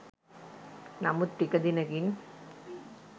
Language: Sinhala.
නමුත් ටික දිනකින්